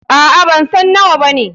Aa.bansan nawa bane.